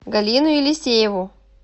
галину елисееву